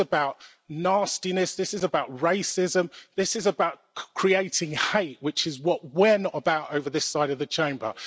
This is about nastiness, this is about racism, this is about creating hate which is what we're not about on this side of the Chamber.